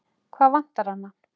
Hvað vantar hana?